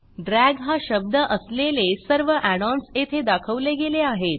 drag हा शब्द असलेले सर्व add ओएनएस येथे दाखवले गेले आहेत